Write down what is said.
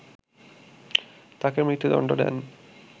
তাকে মৃত্যুদণ্ড দেন